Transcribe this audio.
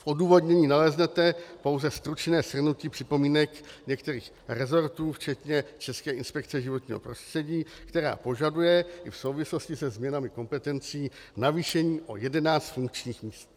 V odůvodnění naleznete pouze stručné shrnutí připomínek některých resortů, včetně České inspekce životního prostředí, která požaduje i v souvislosti se změnami kompetencí navýšení o 11 funkčních míst.